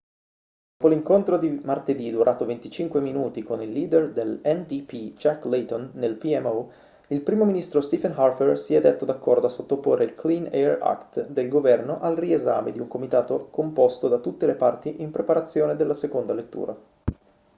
dopo l'incontro di martedì durato 25 minuti con il leader dell'ndp jack layton nel pmo il primo ministro stephen harper si è detto d'accordo a sottoporre il clean air act' del governo al riesame di un comitato composto da tutte le parti in preparazione della seconda lettura